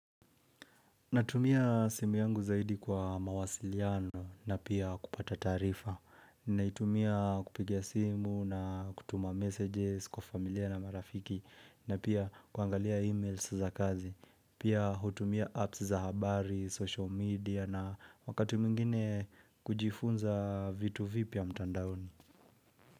Natumia simu yangu zaidi kwa mawasiliano na pia kupata taarifa Naitumia kupigia simu na kutuma messages kwa familia na marafiki na pia kuangalia emails za kazi Pia hutumia apps za habari, social media na wakati mwingine kujifunza vitu vipya mtandaoni.